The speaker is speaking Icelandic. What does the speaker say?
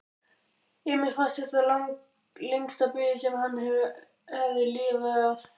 Emil fannst þetta lengsta bið sem hann hafði upplifað.